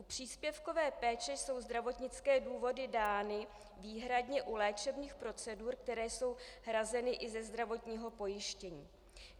U příspěvkové péče jsou zdravotnické důvody dány výhradně u léčebných procedur, které jsou hrazeny i ze zdravotního pojištění.